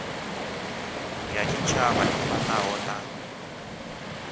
ya tshitshavha i fanaho na